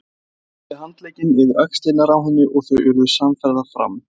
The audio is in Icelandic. Hann setti handlegginn yfir axlirnar á henni og þau urðu samferða fram.